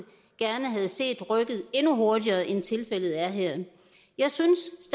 gerne havde set rykkede endnu hurtigere end tilfældet er her jeg synes